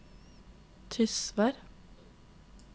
Tysvær